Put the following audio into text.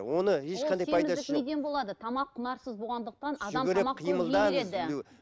тамақ құнарсыз болғандықтан адам